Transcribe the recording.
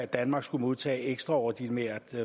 danmark skulle modtage ekstraordinært